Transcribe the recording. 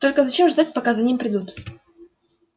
только зачем ждать пока за ним придут